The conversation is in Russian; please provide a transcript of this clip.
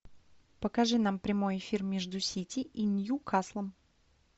покажи нам прямой эфир между сити и ньюкаслом